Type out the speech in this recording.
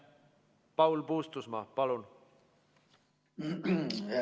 Paul Puustusmaa, palun!